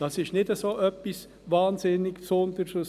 Das ist nicht etwas so wahnsinnig Aussergewöhnliches.